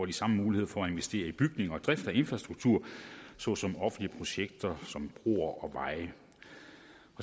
de samme muligheder for at investere i bygninger og drift og infrastruktur såsom offentlige projekter som broer og veje